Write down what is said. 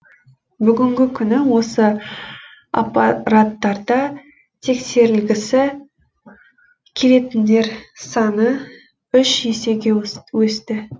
бүгінгі күні осы аппараттарда тексерілгісі келетіндер саны үш есеге өсті